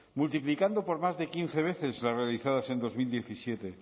multiplicando por más de quince veces las realizadas en dos mil diecisiete